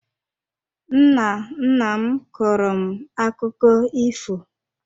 Nna nna m kọọrọ m akụkọ ifo